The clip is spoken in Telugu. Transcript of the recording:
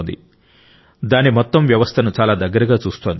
దాని మొత్తం పర్యావరణ వ్యవస్థను చాలా దగ్గరగా చూస్తోంది